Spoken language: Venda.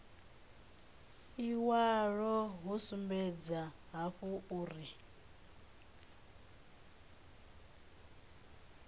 iwalo hu sumbedza hafhu uri